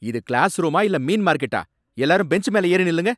இது கிளாஸ் ரூமா இல்ல மீன் மார்க்கெட்டா? எல்லாரும் பெஞ்ச் மேல ஏறி நில்லுங்க.